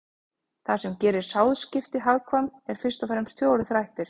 Það sem gerir sáðskipti hagkvæm eru fyrst og fremst fjórir þættir.